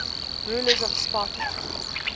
rulers of sparta